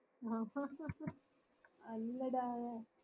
അല്ലടാ